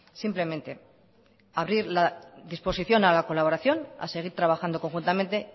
simplemente abrir la disposición a la colaboración a seguir trabajando conjuntamente